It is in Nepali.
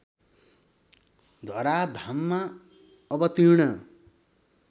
धराधाममा अवतीर्ण